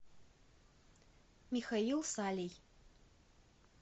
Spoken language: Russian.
михаил салий